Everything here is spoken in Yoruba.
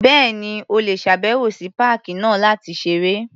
Bẹ́ẹ̀ni. O lè ṣàbẹ̀wò sí páàkì náà láti ṣeré.